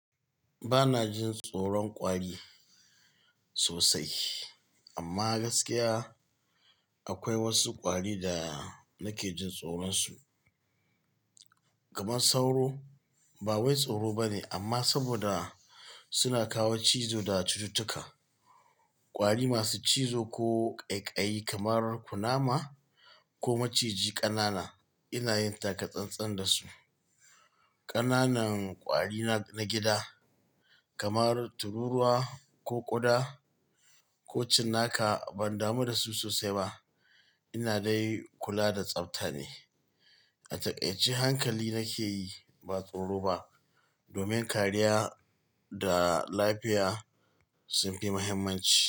Ba na jin tsoron ƙwari sosai, amma gaskiya akwai wasu ƙwari da nake jin tsoronsu. Kamar sauro ba wai tsoro bane amma saboda suna kawo cizo da cututtuka. Ƙwari masu cizo ko ƙaiƙayi kamar kunama ko maciji ƙanana ina yin taka-tsan-tsan da su. Ƙananan ƙwari na gida kamar tururuwa ko ƙuda ko cinnaka ban damu da su sosai ba. Ina dai kula da tsafta ne. A takaice hankali nake yi ba tsoro ba domin kariya da lafiya sun fi muhimmanci.